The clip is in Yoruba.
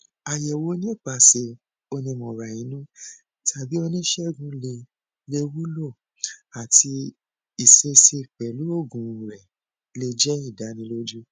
ayẹwo nipasẹ onimọrainu tabi onisegun le le wulo ati iṣesi pẹlu oogun rẹ le jẹ idaniloju